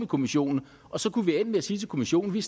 kommissionen og så kunne vi ende med at sige til kommissionen vi